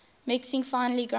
mixing finely ground